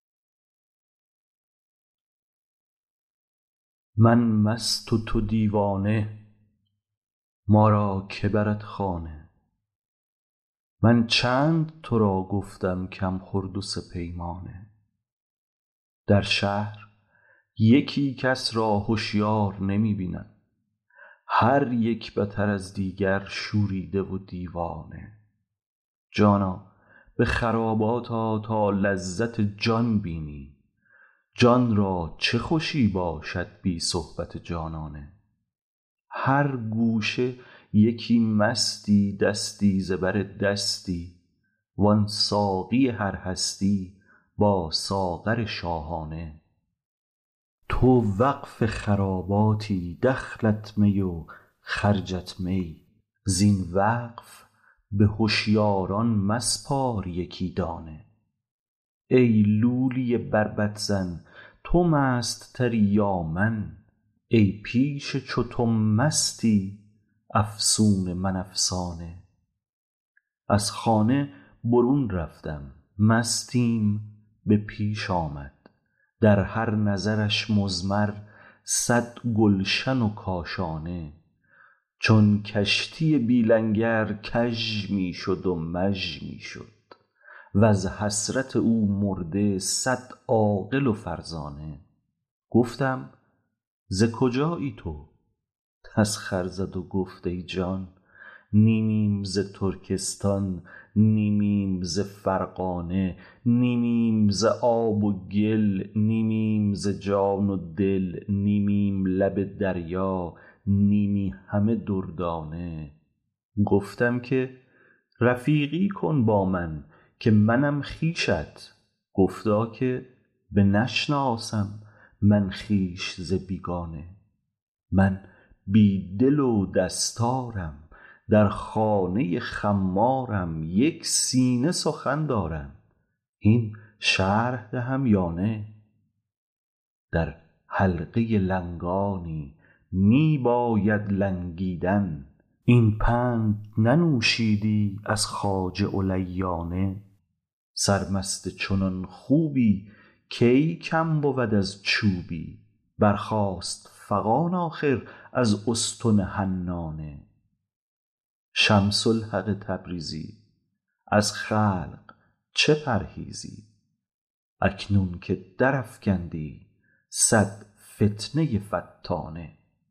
من بی خود و تو بی خود ما را که برد خانه من چند تو را گفتم کم خور دو سه پیمانه در شهر یکی کس را هشیار نمی بینم هر یک بتر از دیگر شوریده و دیوانه جانا به خرابات آ تا لذت جان بینی جان را چه خوشی باشد بی صحبت جانانه هر گوشه یکی مستی دستی ز بر دستی وان ساقی هر هستی با ساغر شاهانه تو وقف خراباتی دخلت می و خرجت می زین وقف به هشیاران مسپار یکی دانه ای لولی بربط زن تو مست تری یا من ای پیش چو تو مستی افسون من افسانه از خانه برون رفتم مستیم به پیش آمد در هر نظرش مضمر صد گلشن و کاشانه چون کشتی بی لنگر کژ می شد و مژ می شد وز حسرت او مرده صد عاقل و فرزانه گفتم ز کجایی تو تسخر زد و گفت ای جان نیمیم ز ترکستان نیمیم ز فرغانه نیمیم ز آب و گل نیمیم ز جان و دل نیمیم لب دریا نیمی همه دردانه گفتم که رفیقی کن با من که منم خویشت گفتا که بنشناسم من خویش ز بیگانه من بی دل و دستارم در خانه خمارم یک سینه سخن دارم هین شرح دهم یا نه در حلقه لنگانی می بایدت لنگیدن این پند ننوشیدی از خواجه علیانه سرمست چنان خوبی کی کم بود از چوبی برخاست فغان آخر از استن حنانه شمس الحق تبریزی از خلق چه پرهیزی اکنون که درافکندی صد فتنه فتانه